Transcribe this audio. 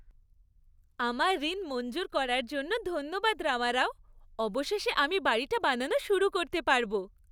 আমার ঋণ মঞ্জুর করার জন্য ধন্যবাদ রামারাও। অবশেষে আমি বাড়িটা বানানো শুরু করতে পারব।